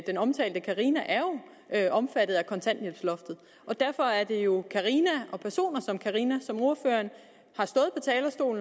den omtalte carina er jo omfattet af kontanthjælpsloftet og derfor er det jo carina og personer som carina som ordføreren